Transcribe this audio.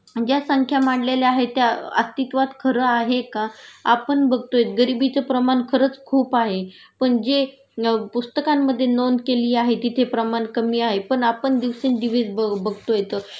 ज्या संख्या मांडलेल्या आहेत त्या अस्तित्वात खरं आहे का?आपण बघतोय गरिबीचं प्रमाण खरंच खूप आहे पण जे पुस्तकांमधे नोंद केली आहे तिथे प्रमाण कमी आहे.पण आपण दिवसेंदिवस बघतोयत